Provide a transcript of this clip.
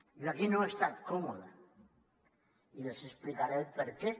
jo aquí no he estat còmode i els explicaré per què